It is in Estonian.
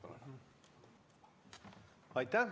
Aitäh!